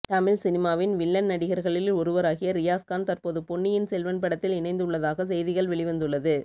தமிழ் சினிமாவின் வில்லன் நடிகர்களில் ஒருவராகிய ரியாஸ் கான் தற்போது பொன்னியின் செல்வன் படத்தில் இணைந்து உள்ளதாக செய்திகள் வெளிவந்துள்ளது